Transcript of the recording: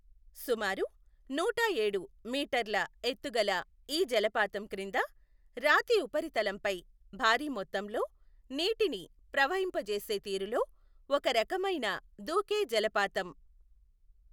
సుమారు నూటఏడు మీటర్ల ఎత్తు గల ఈ జలపాతం క్రింద రాతి ఉపరితలంపై భారీ మొత్తంలో నీటిని ప్రవహింపచేసే తీరులో ఒక రకమైన దూకే జలపాతం.